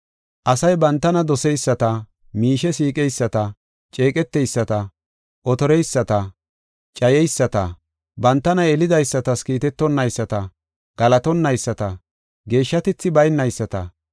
Asay bantana doseyisata, miishe siiqeyisata, ceeqeteyisata, otoreyisata, cayeyisata, bantana yelidaysatas kiitetonaysta, galatonaysta, geeshshatethi baynayisata,